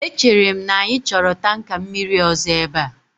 Echere m na anyị chọrọ tanka mmiri ọzọ ebe a